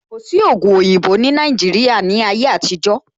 Kò sí ògùn oyinbo ní Nàìjíría ní ayé àtijó